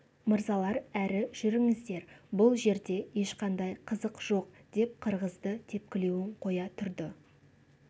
мырзалар әрі жүріңіздер бұл жерде ешқандай қызық жоқ деп қырғызды тепкілеуін қоя тұрды